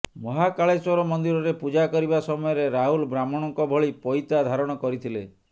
ମହାକାଳେଶ୍ୱର ମନ୍ଦିରରେ ପୂଜା କରିବା ସମୟରେ ରାହୁଲ ବ୍ରାହ୍ମଣଙ୍କ ଭଳି ପଇତା ଧାରଣ କରିଥିଲେ